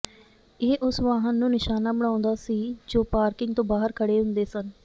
ਇਹ ਉਸ ਵਾਹਨ ਨੂੰ ਨਿਸ਼ਾਨਾ ਬਣਾਉਂਦਾ ਸੀ ਜੋ ਪਾਰਕਿੰਗ ਤੋਂ ਬਾਹਰ ਖੜ੍ਹੇ ਹੁੰਦੇ ਸਨ